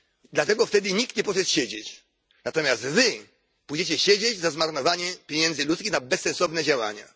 Dlatego wtedy nikt nie poszedł siedzieć, natomiast Wy pójdziecie siedzieć za zmarnowanie pieniędzy ludzi na bezsensowne działania.